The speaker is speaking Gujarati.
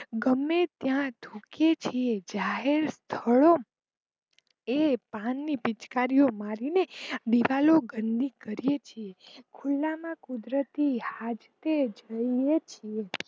ગમે ત્યાં થુંકીએ છીએ પાન ની પીચકારી મારી ને દીવાલો ગંદી કરીયે છીએ ખુલ્લામાં કુદરતી હજકે જોઈએ છીએ.